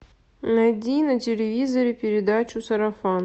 найди на телевизоре передачу сарафан